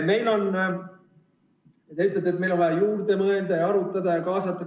Te ütlete, et meil on vaja veel mõelda ja arutada ja kaasata.